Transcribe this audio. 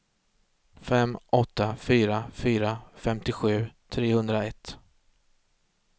fem åtta fyra fyra femtiosju trehundraett